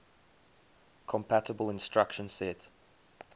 compatible instruction set